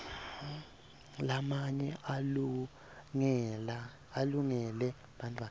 lamanye alungele bantfwana